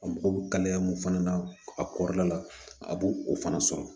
A mago bɛ kalaya mun fana na a kɔrɔla la a b'o o fana sɔrɔ